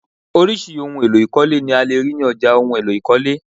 Orisirisi ohùn èlò ikọle ni a lè rí ní ọjà ohùn èlò ikọle